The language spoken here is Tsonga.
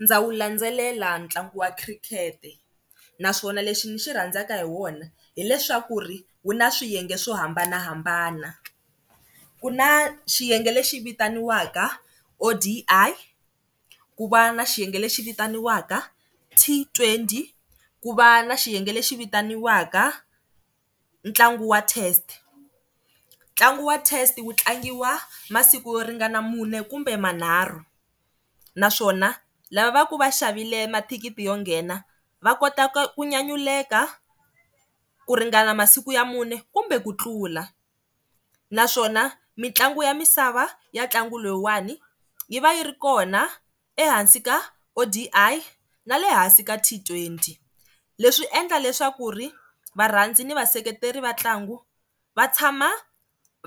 Ndza wu landzelela ntlangu wa khirikete naswona lexi ni xi rhandzaka hi wona hileswaku ri wu na swiyenge swo hambanahambana. Ku na xiyenge lexi vitaniwaka O_D_I ku va na xiyenge lexi vitaniwaka T_twenty ku va na xiyenge lexi vitaniwaka ntlangu wa test. Ntlangu wa test wu tlangiwa masiku yo ringana mune kumbe manharhu naswona lava va ku va xavile mathikiti yo nghena va kota ku nyanyuleka ku ringana masiku ya mune kumbe ku tlula. Naswona, mitlangu ya misava ya ntlangu lowuwani yi va yi ri kona ehansi ka O_D_I na le hansi ka T_twenty. Leswi endla leswaku ri varhandza ni vaseketeri va ntlangu va tshama